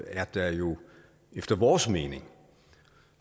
er der jo efter vores mening